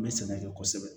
N bɛ sɛnɛkɛ kosɛbɛ